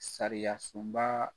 Sariyasunba